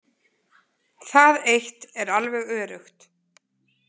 Það eitt er alveg öruggt.